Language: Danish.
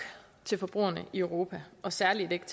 af forbrugerne i europa og særlig ikke